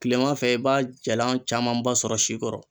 Kilema fɛ e b'a jalan camanba sɔrɔ sikɔrɔ